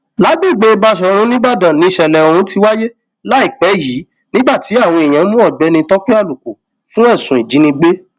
lágbègbè báṣọrun nìbàdàn nìṣẹlẹ ohun ti wáyé láìpẹ yìí nígbà tí àwọn èèyàn mú ọgbẹni tọpẹ àlùkò fún ẹsùn ìjínigbé